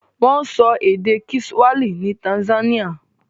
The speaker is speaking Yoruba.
Wọ́n sọ èdè kiswahili ní Tanzania.